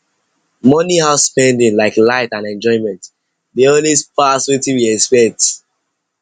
monthly house spending like light and enjoyment dey always pass wetin we expect